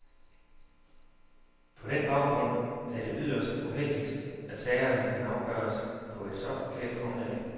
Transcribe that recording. På den baggrund er det yderst uheldigt, at sagerne kan afgøres på et så forkert grundlag.